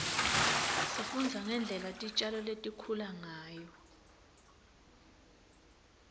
sifundza ngendlela titjalo litikhula ngayo